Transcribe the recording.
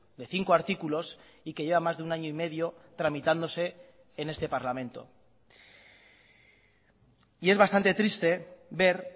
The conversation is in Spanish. de cinco artículos y que lleva más de un año y medio tramitándose en este parlamento y es bastante triste ver